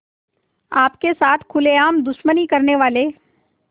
आपके साथ खुलेआम दुश्मनी करने वाले